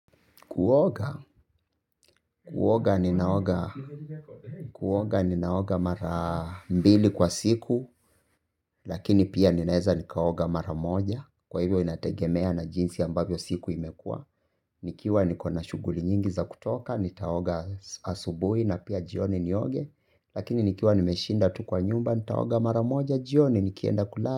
Kuoga, kuoga ninaoga, kuoga ninaoga mara mbili kwa siku, lakini pia ninaeza nikaoga mara moja, kwa hivyo inategemea na jinsi ambavyo siku imekua, nikiwa nikona shuguli nyingi za kutoka, nitaoga asubui na pia jioni nioge, lakini nikiwa nimeshinda tu kwa nyumba, nitaoga mara moja jioni, nikienda kulala.